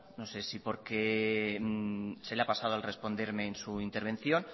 no sé si porque se le ha pasado a responderme en su intervención